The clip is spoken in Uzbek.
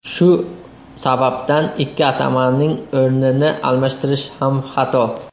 Shu sababdan ikki atamaning o‘rnini almashtirish ham xato.